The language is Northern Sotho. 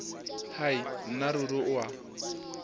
hai nna ruri o a